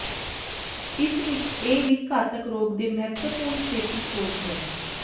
ਇਸ ਵਿਚ ਇਹ ਵੀ ਘਾਤਕ ਰੋਗ ਦੇ ਮਹੱਤਵਪੂਰਨ ਛੇਤੀ ਖੋਜ ਹੈ